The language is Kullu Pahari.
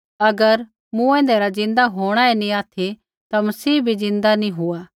अगर मूँऐंदै रा ज़िन्दा होंणा ही नी ऑथि ता मसीह भी ज़िन्दा नी हुआ